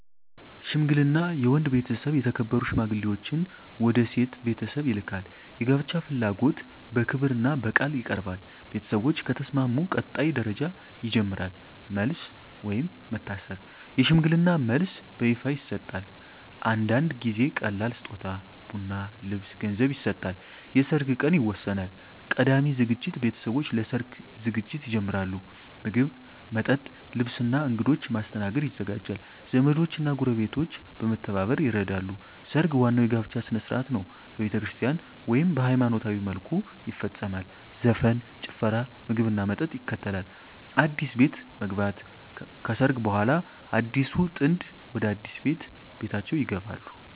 ሽምግልና የወንድ ቤተሰብ የተከበሩ ሽማግሌዎችን ወደ የሴት ቤተሰብ ይልካል። የጋብቻ ፍላጎት በክብርና በቃል ይቀርባል። ቤተሰቦች ከተስማሙ ቀጣይ ደረጃ ይጀምራል። መልስ (ወይም መታሰር) የሽምግልና መልስ በይፋ ይሰጣል። አንዳንድ ጊዜ ቀላል ስጦታ (ቡና፣ ልብስ፣ ገንዘብ) ይሰጣል። የሰርግ ቀን ይወሰናል። ቀዳሚ ዝግጅት ቤተሰቦች ለሰርግ ዝግጅት ይጀምራሉ። ምግብ፣ መጠጥ፣ ልብስ እና እንግዶች ማስተናገድ ይዘጋጃል። ዘመዶች እና ጎረቤቶች በመተባበር ይረዳሉ። ሰርግ ዋናው የጋብቻ ሥነ ሥርዓት ነው። በቤተክርስቲያን (ወይም በሃይማኖታዊ መልኩ) ይፈጸማል። ዘፈን፣ ጭፈራ፣ ምግብና መጠጥ ይከተላል። አዲስ ቤት መግባት (ከሰርግ በኋላ) አዲሱ ጥንድ ወደ አዲስ ቤታቸው ይገባሉ።